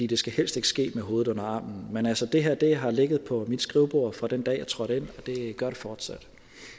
det skal helst ikke ske med hovedet under armen men altså det her har ligget på mit skrivebord fra den dag jeg trådte ind og det gør det fortsat